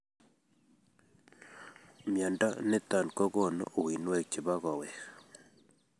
Mnyondo niton kogonu uinwek chebo koweg